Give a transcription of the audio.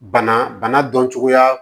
Bana bana dɔn cogoya